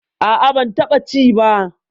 A'a, ban taɓa ci ba.